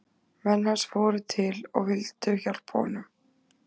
Menn hans fóru til og vildu hjálpa honum.